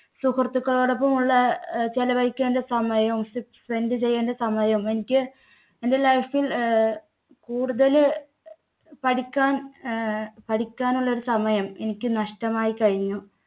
സുഹൃത്തുക്കളോടൊപ്പം ഉള്ള ചെലവഴിക്കേണ്ട സമയോം spend ചെയ്യേണ്ട സമയവും എനിക്ക് എന്‍ടെ life ൽ കൂടുതല് പഠിക്കാൻ അഹ് പഠിക്കാനുള്ള ഒരു സമയം എനിക്ക് നഷ്ടമായി കഴിഞ്ഞു.